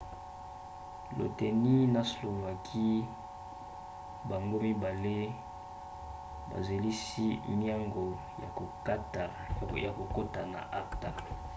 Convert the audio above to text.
lettonie na slovaquie bango mibali bazelisi miango ya kokota na acta